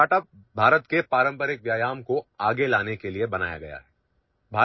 ہمارا startup Hindustan کی روایتی ورزشوں کو آگے لانے کے لیے بنایا گیا ہے